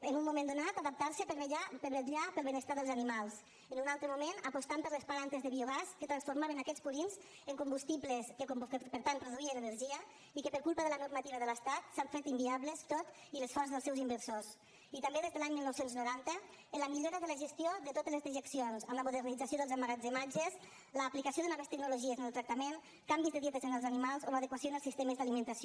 en un moment donat adaptant se per vetllar pel benestar dels animals en un altre moment apostant per les plantes de biogàs que transformaven aquests purins en combustibles que per tant produïen energia i que per culpa de la normativa de l’estat s’han fet inviables tot i l’esforç dels seus inversors i també des de l’any dinou noranta en la millora de la gestió de totes les dejeccions amb la modernització dels emmagatzematges l’aplicació de noves tecnologies en el tractament canvis de dietes en els animals o l’adequació en els sistemes d’alimentació